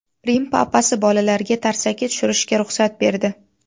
Rim Papasi bolalarga tarsaki tushirishga ruxsat berdi.